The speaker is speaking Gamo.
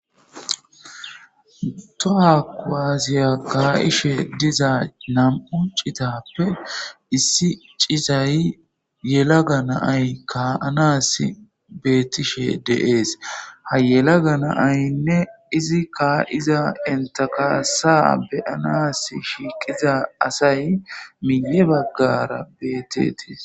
toha qwaasiya ka7ishe diza nam7u citappe issi cizay yela ga naay kaanas bettishe deees ha yelaga naaynne izi ka7iza intakaasa beyanas shiiqiza asay miye baggara beetetiis